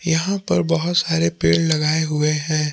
यहां पर बहोत सारे पेड़ लगाए हुए है।